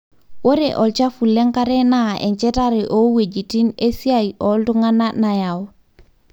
ore olchafu lenkare na enchatare oweujitin esiai oltungana nayau.